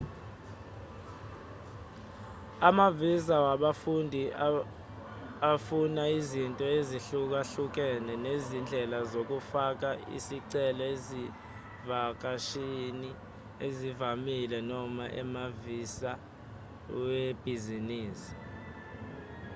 amavisa wabafundi afuna izinto ezihlukahlukene nezindlela zokufaka isicelo ezivakashini ezivamile noma amavisa webhizinisi